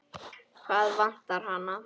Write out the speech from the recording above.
Hvað vantar hana?